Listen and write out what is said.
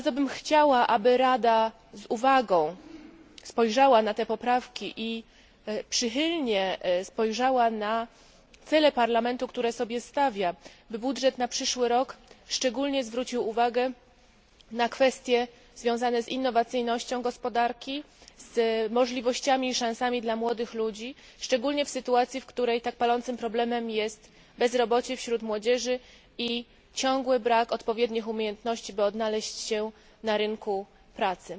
Chciałabym bardzo, aby Rada z uwagą spojrzała na te poprawki i przychylnie spojrzała na cele, które Parlament sobie stawia, by budżet na przyszły rok szczególnie zwrócił uwagę na kwestie związane z innowacyjnością gospodarki, z możliwościami i szansami dla młodych ludzi, szczególnie w sytuacji, w której tak palącym problemem jest bezrobocie wśród młodzieży i ciągły brak odpowiednich umiejętności po to, by odnaleźć się na rynku pracy.